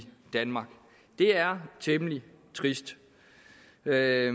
danmark det er temmelig trist der er